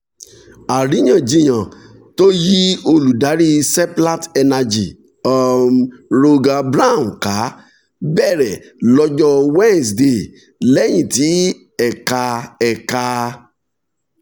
àríyànjiyàn tó yí olùdarí seplat energy um roger brown ká bẹ̀rẹ̀ lọ́jọ́ wednesday lẹ́yìn tí ẹ̀ka ẹ̀ka